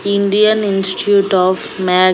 Indian institute of మ్యాగ్--